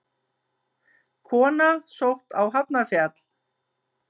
Kona sótt á Hafnarfjall